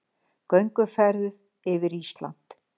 Gönguferð yfir Ísland